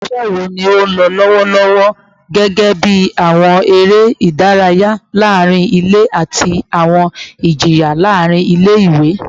Awọn iṣẹ wo ni o nlọ lọwọ lọwọlọwọ, gẹgẹbi awọn ere idaraya laarin ile ati awọn ijiyan laarin ile-iwe?